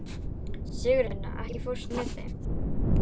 Sigurvina, ekki fórstu með þeim?